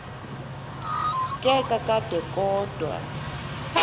ke kakade kodwa